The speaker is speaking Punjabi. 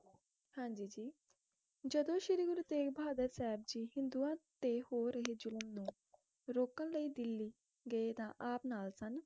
ਹਾਂਜੀ ਜੀ ਜਦੋ ਸ਼੍ਰੀ ਗੁਰੂ ਤੇਗ਼ ਬਹਾਦਰ ਸਾਹਿਬ ਜੀ ਹਿੰਦੂਆਂ ਤੇ ਹੋ ਰਹੇ ਜ਼ੁਲਮ ਨੂੰ ਰੋਕਣ ਲਈ ਦਿੱਲੀ ਗਏ ਤਾ ਆਪ ਨਾਲ ਸਨ